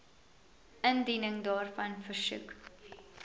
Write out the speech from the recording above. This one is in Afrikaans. indiening daarvan versoek